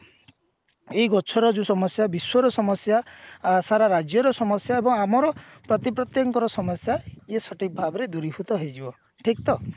ଏଇ ଗଛର ଯୋଉ ସମସ୍ଯା ବିଶ୍ଵର ସମସ୍ଯା ଅ ସାରା ରାଜ୍ୟର ସମସ୍ଯା ଏବଂ ଆମର ପ୍ରତି ପ୍ରତ୍ୟକ ଙ୍କର ସମସ୍ଯା ଇଏ ସଠିକ ଭାବରେ ଦୂରୀଭୂତ ହେଇଯିବ ଠିକ ତ